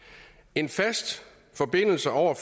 en fast forbindelse over